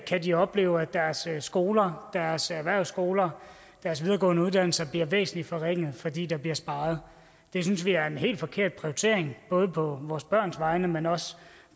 de opleve at deres skoler deres erhvervsskoler deres videregående uddannelser bliver væsentlig forringet fordi der bliver sparet det synes vi er en helt forkert prioritering både på vores børns vegne men også